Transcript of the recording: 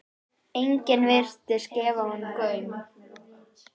Enginn virtist gefa honum gaum.